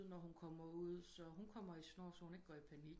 Når hun kommer ud så hun kommer i snor så hun ikke går i panik